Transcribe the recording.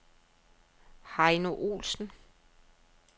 Heino Ohlsen